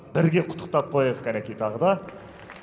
бірге құттықтап қояйық кәнеки тағы да